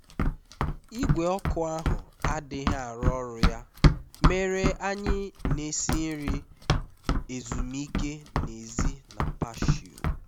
igwe ọkụ ahụ adịghị arụ ọrụ ya mere anyị na-esi nri ezumike n'èzí na patio